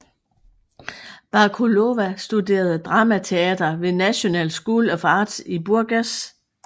Bakalova studerede dramateater ved National School of Arts i Burgas